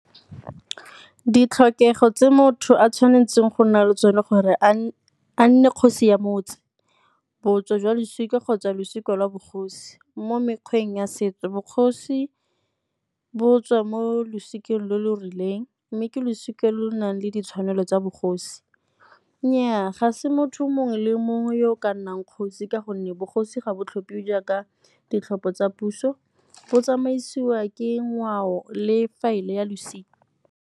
Ditlhokego tse motho a tshwanetseng go nna le tsone gore a nne kgosi ya motse. Botso jwa losika kgotsa losika la bogosi, mo mekgweng ya setso bogosi bo tswa mo losikeng le le rileng mme ke losika lo nang le ditshwanelo tsa bogosi. Nnyaa, ga se motho mongwe le mongwe yo o ka nnang kgosi ka gonne bogosi ga bo tlhophiwa jaaka ditlhopho tsa puso, bo tsamaisiwa ke ngwao le faele ya losika.